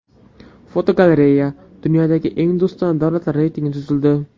Fotogalereya: Dunyodagi eng do‘stona davlatlar reytingi tuzildi.